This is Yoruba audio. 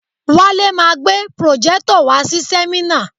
Wale ma gbé pròjẹ́tọ̀ wàá si sẹ́mínà.